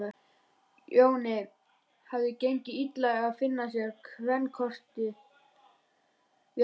Jóni hafði gengið illa að finna sér kvenkost við hæfi.